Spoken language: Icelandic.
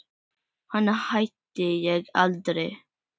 Hana hitti ég aldrei.